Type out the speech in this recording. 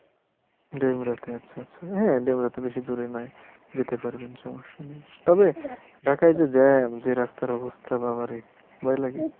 ডেমরাতে আচ্ছা আচ্ছা হ্যাঁ ডেমরাতো বেশি দূরে নয় যেতে পারবেন সমস্যা নেই তবে ঢাকায় যে jam যে রাস্তার অবস্থা বাবারে ভয় লাগে।